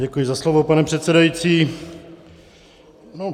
Děkuji za slovo, pane předsedající.